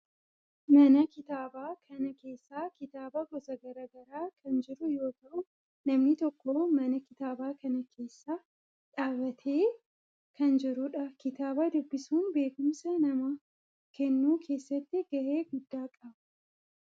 Mana kitaabaa kana keessa kitaaba gosa garaa garaa kan jiru yoo ta'u namni tokko mana kitaabaa kana keessa dhaabbatee kan jirudha. kitaaba dubbisuun beekumsa namaa kennuu keessatti gahee guddaa qaba.